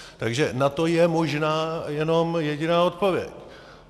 Takže na to je možná jenom jediná odpověď.